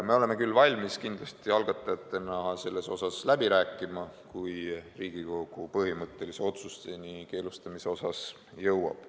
Me oleme küll algatajatena valmis selle tähtaja üle läbi rääkima, kui Riigikogu põhimõttelise keelustamise otsuseni jõuab.